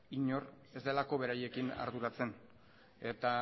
inor ez delako beraiekin arduratzen eta